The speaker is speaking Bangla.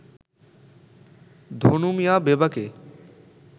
ধনু মিয়া বেবাকে